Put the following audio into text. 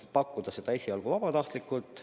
Seda saaks pakkuda teha esialgu vabatahtlikult.